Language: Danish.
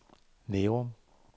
Nærum